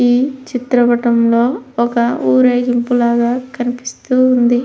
ఈ చిత్రం పాఠంలో ఒక ఊరేగింపు లాగా కనిపిస్తుంది.